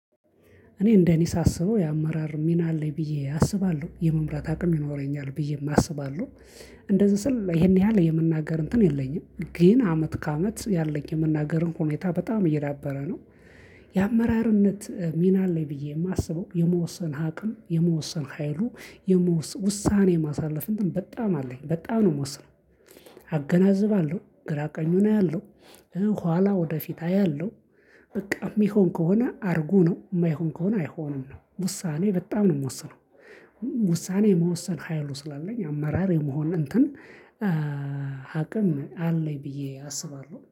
እኔ እንደኔ ሳስበው የአመራር ሚና አለኝ ብዬ አስባለሁ የመምራት አቅም ይኖረኛል ብዬም አስባለሁ። እንደዚህ ስል ይሄን ያህል የመናገር እንትን የለኝም ግን አመት ከአመት ያለኝ የመናገር እንትን ሁኔታ በጣም እየዳበረ ነው። የአመራርነት ሚና አለኝ ብዬ የማስበው የመወሰን አቅም የመወሰን ሀይሉ የመወሰን ውሳኔ ማሳለፍ በጣም አለኝ በጣም ነው የምወስነው። አገናዝባለሁ ግራ ቀኙን አያለሁ። ኋላ ወደፊት አያለሁ። በቃ የሚሆን ከሆነ አርጉ ነው የማይሆን ከሆነ አይሆንም ነው ውሳኔ በጣም ነው የምወስነው። ውሳኔ የመወሰን ሀይሉ ስላለኝ አመራር የመሆን እንትን አቅም አለኝ ብዬ አስባለሁ